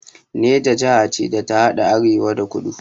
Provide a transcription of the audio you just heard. Neja jaha ce da ta haɗa arewa da kudu